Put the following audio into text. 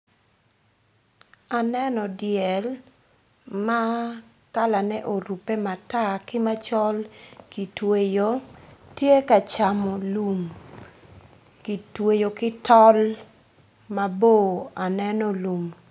Aneno dyel ma kalane orube matar ki macol kitweyo tye ka camo lum kitweyo ki tol mabor aneno lum.